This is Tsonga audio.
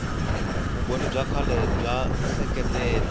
vumbhoni bya kahle byo seketela